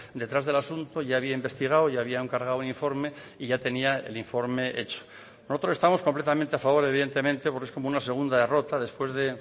detrás del asunto ya había investigado y había encargado un informe y ya tenía el informe hecho nosotros estamos completamente a favor evidentemente porque es como una segunda derrota después de